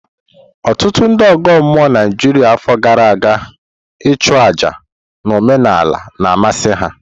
Ọtụtụ ndị ọgọ mmụọ Naijiria afọ gara aga ichu àjá na omenala na amasị ha.